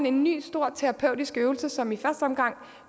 en ny stor terapeutisk øvelse som i første omgang